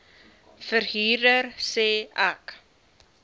verhuurder sê ek